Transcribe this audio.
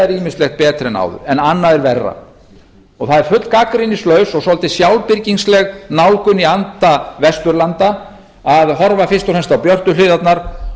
er ýmislegt betra en áður en annað er verra og það er fullgagnrýnislaus og svolítið sjálfbirgingsleg nálgun í anda vesturlanda að horfa fyrst og fremst á björtu hliðarnar